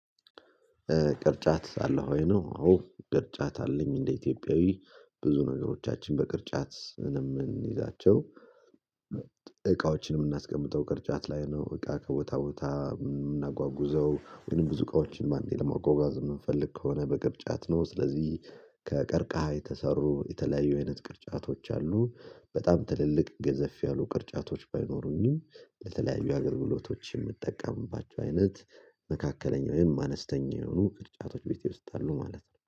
ቅርጫት አለህ ወይ ነው? አዎ ቅርጫት አለኝ እንደ ኢትዮጵያዊ ብዙ ነገሮቻችን በቅርጫት እንደምንይዛቸው። እቃዎችን የምናስቀምጠው ቅርጫት ላይ ነው። እቃ ከቦታ ቦታ የምናጓጉዘው ወይም ብዙ እቃዎችን ባንዴ ለማጓጓዝ የምንፈልግ ከሆነ በቅርጫት ነው። ስለዚህ ከቀርቃሃ የተሰሩ የተለያዩ አይነት ቅርጫቶች አሉ። በጣም ትልልቅ ገዘፍ ያሉ ቅርጫቶች ባይኖሩኝም። በተለያዩ አገልግሎቶች የምጠቀምባቸው አይነት መካከለኛው ወይም አነስተኛ የሆኑ ቅርጫቶች ቤቴ ውስጥ አሉ ማለት ነው